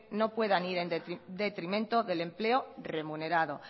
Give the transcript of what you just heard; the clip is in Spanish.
no puedan ir en detrimento del empleo remunerado